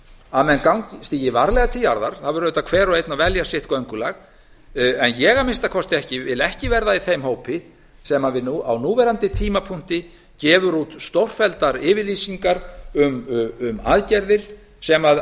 að menn stígi varlega til jarðar það verður auðvitað hver og einn að velja sitt göngulag en ég vil að minnsta kosti ekki verða í þeim hópi sem á núverandi tímapunkti gefur út stórfelldar yfirlýsingar um aðgerðir sem